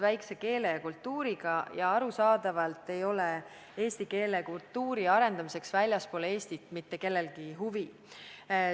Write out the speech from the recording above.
Meie keele ja kultuuri kasutajaskond on väike ning arusaadavalt ei ole eesti keele ja kultuuri arendamiseks väljaspool Eestit mitte kellelgi huvi.